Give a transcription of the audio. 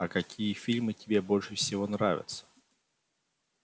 а какие фильмы тебе больше всего нравятся